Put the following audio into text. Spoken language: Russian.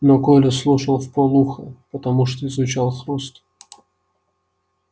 но коля слушал вполуха потому что изучал хруст